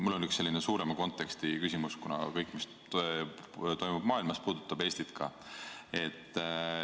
Mul on üks selline suurema konteksti küsimus, kuna kõik, mis toimub maailmas, puudutab Eestit ka.